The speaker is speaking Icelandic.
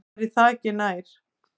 Væri það ekki nær?